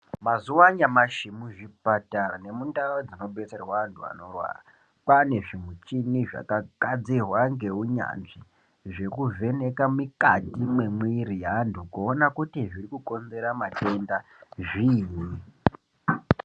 Mazuwa anyamashi muzvipatara nemundau dzinobetserwa antu anorwara kwane zvimuchini zvakagadzirwa ngeunyanzvi, zvekuvheneka mikati memwiri yeantu kuona kuti zvirikukonzera matenda zviinyi.